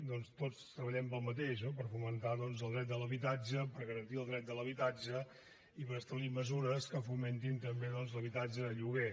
doncs tots treballem pel mateix no per fomentar el dret a l’habitatge per garantir el dret a l’habitatge i per establir mesures que fomentin també l’habitatge de lloguer